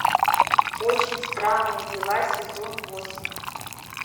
очень странные дела сезон восемь